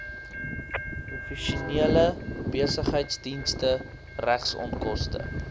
professionele besigheidsdienste regsonkoste